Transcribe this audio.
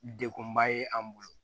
Dekunba ye an bolo